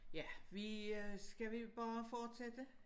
Ja vi øh skal vi bare fortsætte?